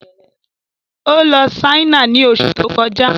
Ó lọ Ṣáínà ni oṣù tó kọjá